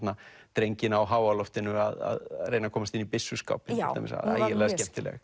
drenginn á háaloftinu að reyna að komast inn í byssuskápinn til dæmis ægilega skemmtileg